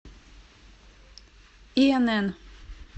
инн